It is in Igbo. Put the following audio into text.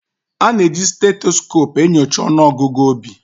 A na-eji stethoscope na-enyocha ọnụọgụ obi